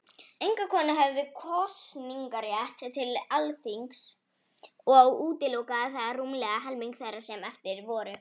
Engar konur höfðu kosningarétt til Alþingis, og útilokaði það rúmlega helming þeirra sem eftir voru.